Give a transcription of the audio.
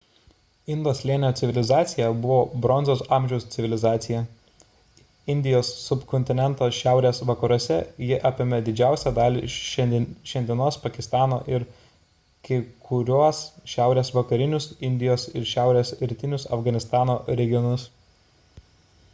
indo slėnio civilizacija buvo bronzos amžiaus civilizacija indijos subkontineno šiaurės vakaruose ji apėmė didžiausią dalį šiandienos pakistano ir kai kuriuos šiaurės vakarinius indijos ir šiaurės rytinius afganistano regionus